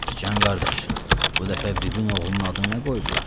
Sıcan qardaş, bu dəfə bibin oğlunun adını nə qoydular?